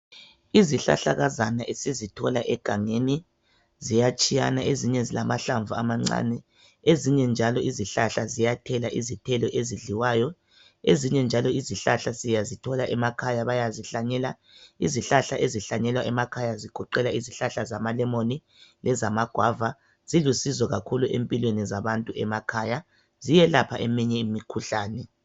Izihlahlakazana esizithola egangeni ziyatshiyana ezinye zilamahlamvu amancane ezinye njalo izihlahla ziyathela izithelo ezidliwayo ezinye njalo izihlahla siyazithola emakhaya bayazihlanyela. Izihlahla ezihlanyelwa emakhaya zigoqela izihlahla zamalemoni lezamagwava. Zilusizo kakhulu empilweni zabantu emakhaya ziyelapha eminye imikhuhlane.